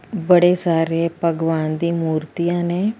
ਬੜੇ ਸਾਰੇ ਭਗਵਾਨ ਦੀ ਮੂਰਤੀਆਂ ਨੇ।